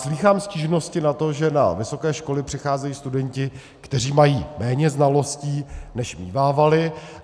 Slýchám stížnosti na to, že na vysoké školy přicházejí studenti, kteří mají méně znalostí, než mívávali.